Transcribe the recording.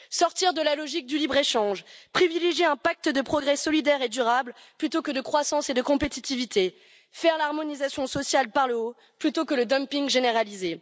Sortir de la logique du libre échange, privilégier un pacte de progrès solidaire et durable plutôt que de croissance et de compétitivité, faire l'harmonisation sociale par le haut plutôt que le dumping généralisé.